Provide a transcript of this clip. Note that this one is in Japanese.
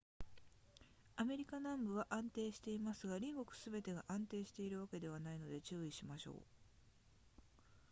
アフリカ南部は安定していますが隣国すべてが安定しているわけではないので注意しましょう